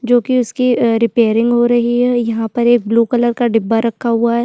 जो कि उसकी रिपेयरिंग हो रही है यहाँ पर एक ब्लू कलर का डिब्बा रखा हुआ है।